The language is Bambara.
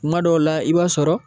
Kuma dɔw la i b'a sɔrɔ